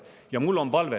Ja mul on palve …